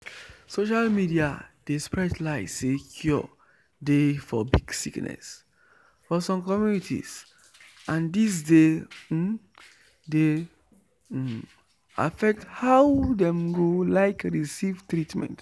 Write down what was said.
social media dey spread lie say cure dey for big sickness for some communities and this dey um dey um affect how dem go like receive treatment.